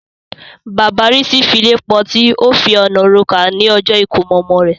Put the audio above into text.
Bàbá Rísí file pọti, ó fi ọ̀nà rokà ní ọjọ́ ìkómọ ọmọ rẹ̀.